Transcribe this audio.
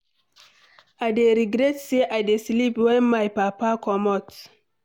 I dey regret say I dey sleep wen my papa comot.